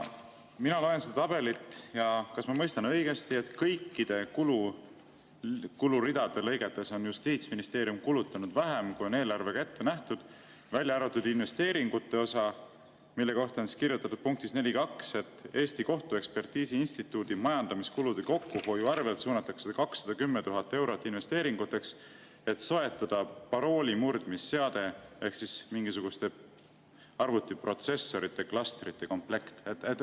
Mina loen seda tabelit ja kas ma mõistan õigesti, et kõikide kuluridade lõigetes on Justiitsministeerium kulutanud vähem, kui on eelarvega ette nähtud, välja arvatud investeeringute osa, mille kohta on kirjutatud punktis 4.2, et Eesti Kohtuekspertiisi Instituudi majandamiskulude kokkuhoiu arvelt suunatakse 210 000 eurot investeeringuteks, et soetada paroolimurdmisseade ehk siis mingisuguste arvutiprotsessorite klastrite komplekt?